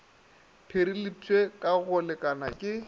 pireletpwe ka go lekana ke